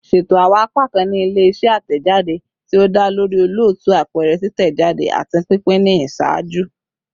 Ṣeto awọn apakan ni ile-iṣẹ atẹjade ti o da lori olootu, apẹrẹ, titẹjade, ati pinpin ni iṣaaju